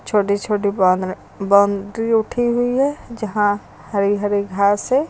छोटे छोटे बोदन बाउंड्री उठी हुई है जहां हरे हरे घास है।